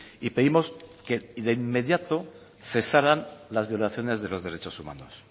y pedimos que de inmediato cesaran las violaciones de los derechos humanos